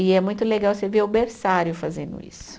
E é muito legal você ver o berçário fazendo isso.